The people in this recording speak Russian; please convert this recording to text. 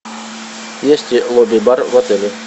есть ли лобби бар в отеле